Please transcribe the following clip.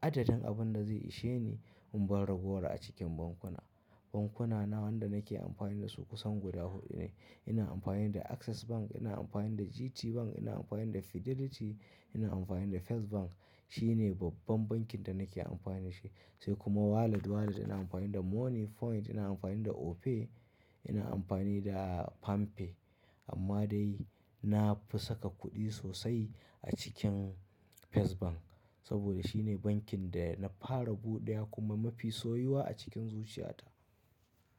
Adadin abin da zai ishe ni in bar ragowar a cikin bankuna. Bankunana wanda nake amfani da su kusan guda huɗu ne. Ina amfani da Access Bank, ina amfani da GTBank, ina amfani da Fidelity, ina amfani da First Bank. Shine babban bankin da nake amfani shi. Sai kuma walat walat ina amfani da Money Point, ina amfani da Opay, ina amfani da Palmpay. Amma dai na fi saka kuɗi sosai a cikin First Bank. Saboda shine bankin da na fara buɗewa kuma mafi soyuwa a cikin zuciyata.